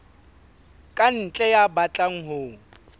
ka ntle ya batlang ho